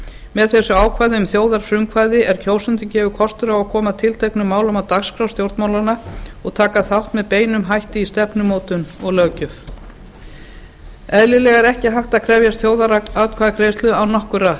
með þessu ákvæði um þjóðarfrumkvæði er kjósendum gefinn kostur á að koma tilteknum málum á dagskrá stjórnmálanna og taka með beinum hætti þátt í stefnumótun og löggjöf eðlilega er ekki hægt að krefjast þjóðaratkvæðagreiðslu án nokkurra